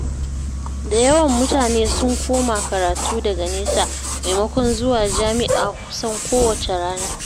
Da yawan mutane sun koma karatu-daga-nesa, maimakon zuwa jami'a kusan kowacce rana.